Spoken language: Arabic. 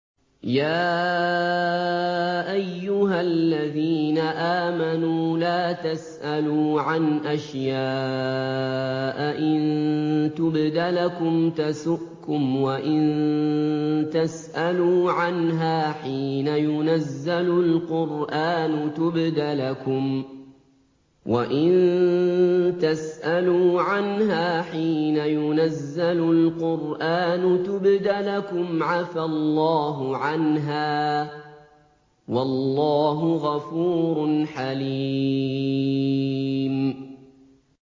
يَا أَيُّهَا الَّذِينَ آمَنُوا لَا تَسْأَلُوا عَنْ أَشْيَاءَ إِن تُبْدَ لَكُمْ تَسُؤْكُمْ وَإِن تَسْأَلُوا عَنْهَا حِينَ يُنَزَّلُ الْقُرْآنُ تُبْدَ لَكُمْ عَفَا اللَّهُ عَنْهَا ۗ وَاللَّهُ غَفُورٌ حَلِيمٌ